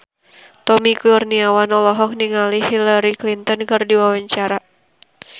Tommy Kurniawan olohok ningali Hillary Clinton keur diwawancara